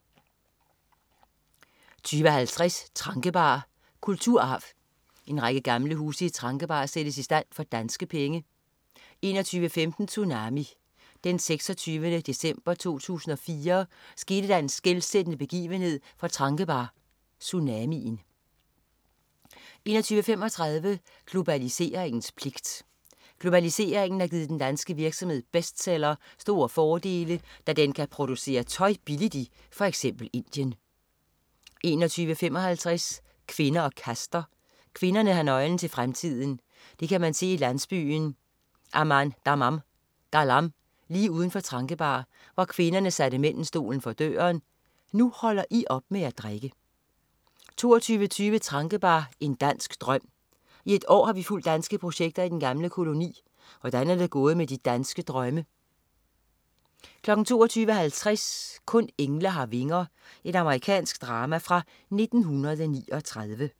20.50 Tranquebar, kulturarv. En række gamle huse i Tranquebar sættes i stand for danske penge 21.15 Tsunami. Den 26. december 2004 skete der en skelsættende begivenhed for Tranquebar: Tsunamien 21.35 Globaliseringens pligt. Globaliseringen har givet den danske virksomhed Bestseller store fordele, da den kan producere tøj billigt i f.eks. Indien 21.55 Kvinder og kaster. Kvinderne har nøglen til fremtiden. Det kan man se i landsbyen Amandaman-galam lige uden for Tranquebar, hvor kvinderne satte mændene stolen for døren: Nu holder I op med at drikke! 22.20 Tranquebar, en dansk drøm. I et år har vi fulgt danske projekter i den gamle koloni. Hvordan er det gået med de danske drømme? 22.50 Kun engle har vinger. Amerikansk drama fra 1939